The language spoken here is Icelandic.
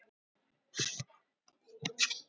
Lögregla segir málið upplýst.